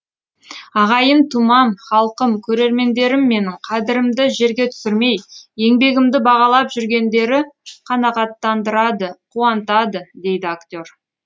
ағайын тумам халқым көрермендерім менің қадірімді жерге түсірмей еңбегімді бағалап жүргендері қанаттандырады қуантады дейді актер